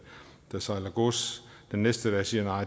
der sejler gods den næste dag siger